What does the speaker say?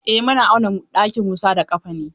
Eh muna auna ɗakin Musa da ƙafa ne.